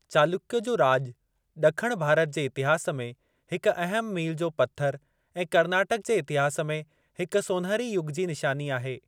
चालुक्य जो राॼ ॾखण भारत जे इतिहास में हिक अहिम मील जो पत्थर ऐं कर्नाटक जे इतिहास में हिक सोनहिरी युग जी निशानी आहे।